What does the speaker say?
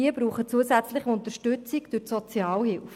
Sie brauchen zusätzliche Unterstützung durch die Sozialhilfe.